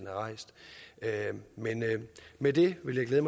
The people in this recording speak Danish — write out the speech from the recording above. har rejst men med det vil jeg